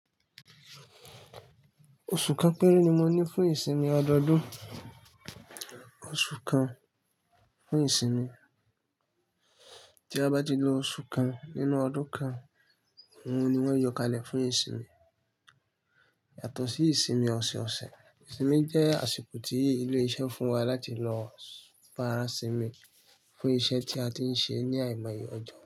Oṣù kan péré ni mo ní fún ìsinmi ọdọọdún. Oṣù kan fún ìsinmi. Tí a bá lo oṣù kan nínú ọdún kan, òun ni mo ma yọ kalẹ̀ fún ìsinmi. Yàtọ̀ sí ìsinmi ọ̀sẹ̀ ọ̀sẹ̀, ìsinmi jẹ́ àsìkò tí ilé iṣẹ́ fún wa láti lọ farasinmi fún iṣẹ́ tí a ti ń ṣe ní àìmọye ọjọ́.